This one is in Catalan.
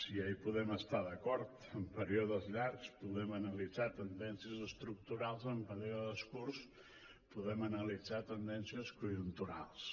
ja hi podem estar d’acord en períodes llargs podem analitzar tendències estructurals en períodes curts podem analitzar tendències conjunturals